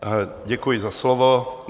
Děkuji za slovo.